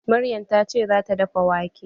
Maryam ta ce za ta dafa wake